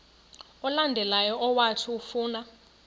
olandelayo owathi ufuna